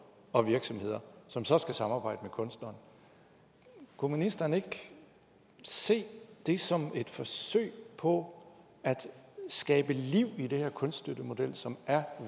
og virksomheder som så skal samarbejde med kunstneren kunne ministeren ikke se det som et forsøg på at skabe liv i den her kunststøttemodel som er